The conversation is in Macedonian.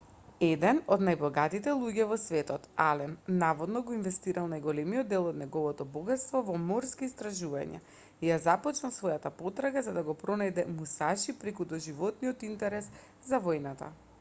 еден од најбогатите луѓе во светот ален наводно го инвестирал најголемиот дел од неговото богатство во морски истражувања и ја започнал својата потрага за да го пронајде мусаши преку доживотниот интерес за војната